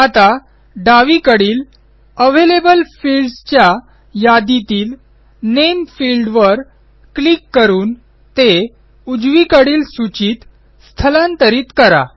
आता डावीकडील available fields च्या यादीतील नेम फिल्डवर क्लिक करून ते उजवीकडील सूचीत स्थलांतरित करा